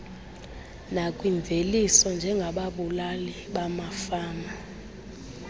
nakwimveliso njengababulali bamafama